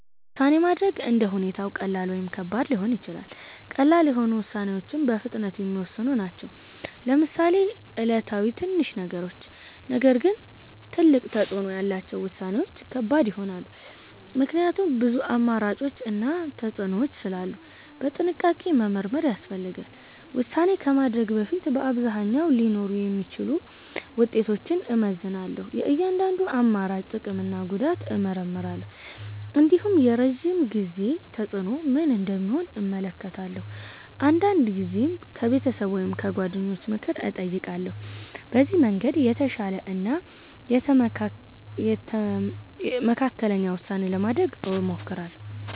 ውሳኔ ማድረግ እንደ ሁኔታው ቀላል ወይም ከባድ ሊሆን ይችላል። ቀላል የሆኑ ውሳኔዎች በፍጥነት የሚወሰኑ ናቸው፣ ለምሳሌ ዕለታዊ ትንሽ ነገሮች። ነገር ግን ትልቅ ተፅዕኖ ያላቸው ውሳኔዎች ከባድ ይሆናሉ፣ ምክንያቱም ብዙ አማራጮች እና ተፅዕኖዎች ስላሉ በጥንቃቄ መመርመር ያስፈልጋል። ውሳኔ ከማድረግ በፊት በአብዛኛው ሊኖሩ የሚችሉ ውጤቶችን እመዝናለሁ። የእያንዳንዱን አማራጭ ጥቅም እና ጉዳት እመርምራለሁ። እንዲሁም የረዥም ጊዜ ተፅዕኖ ምን እንደሚሆን እመለከታለሁ። አንዳንድ ጊዜም ከቤተሰብ ወይም ከጓደኞች ምክር እጠይቃለሁ። በዚህ መንገድ የተሻለ እና የተመካከለ ውሳኔ ለማድረግ እሞክራለሁ።